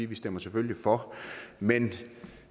vi stemmer selvfølgelig for men